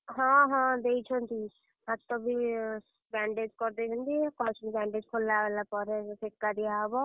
ହଁ ହଁ ଦେଇଛନ୍ତି, ହାତବି, bandage କରିଦେଇଛନ୍ତି, କହିଛନ୍ତି bandage ଖୋଲା ହେଲା ପରେ ସେକା ଦିଆ ହବ।